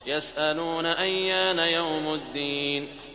يَسْأَلُونَ أَيَّانَ يَوْمُ الدِّينِ